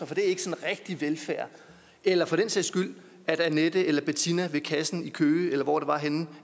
det er ikke sådan rigtig velfærd eller for den sags skyld at annette eller bettina ved kassen i køge eller hvor det var henne i